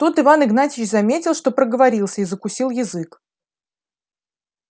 тут иван игнатьич заметил что проговорился и закусил язык